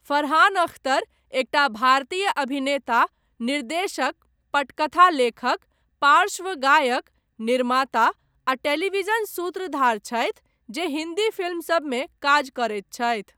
फरहान अख्तर एकटा भारतीय अभिनेता, निर्देशक, पटकथा लेखक, पार्श्व गायक, निर्माता आ टेलीविजन सूत्रधार छथि जे हिन्दी फिल्मसभमे काज करैत छथि।